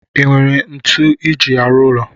Inwere ntu iji arụ ụlọ?